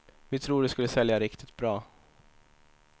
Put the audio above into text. Vi tror att det skulle sälja riktigt bra.